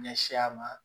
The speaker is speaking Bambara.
Ɲɛsi a ma